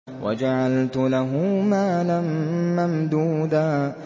وَجَعَلْتُ لَهُ مَالًا مَّمْدُودًا